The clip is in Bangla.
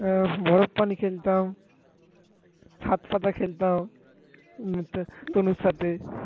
হম হচ্ছে তনুর সাথে